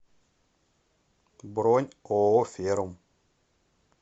бронь ооо ферум